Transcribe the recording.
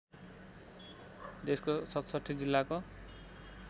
देशको ६७ जिल्लाको